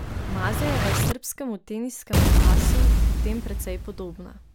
Mazejeva je srbskemu teniškemu asu v tem precej podobna.